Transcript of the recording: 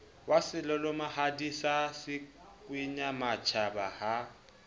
wa selalomehadi sa sekwenyamatjhaba ha